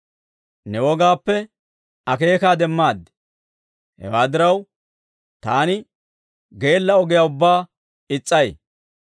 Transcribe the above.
Ne wogaappe akeekaa demmaad; hewaa diraw, taani geella ogiyaa ubbaa is's'ay.